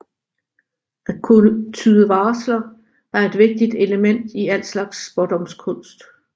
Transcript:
At kunne tyde varsler er et vigtigt element i al slags spådomskunst